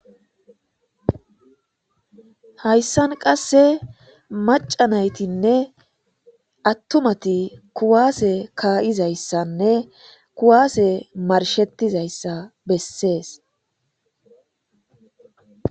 Haysan qade maca naytin attumati kuwase ka'izaysa kuwase marshetizaysa besses. me ne